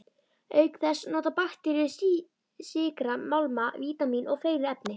Auk þess nota bakteríur sykra, málma, vítamín og fleiri efni.